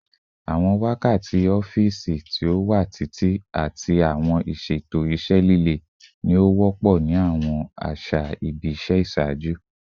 Awọn wakati ọfiisi ti o wa titi ati awọn iṣeto iṣẹ lile ni o wọpọ ni awọn aṣa ibi iṣẹ iṣaaju